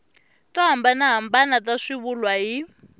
to hambanahambana ta swivulwa hi